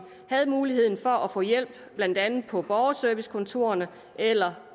havde muligheden for at få hjælp blandt andet på borgerservicekontorerne eller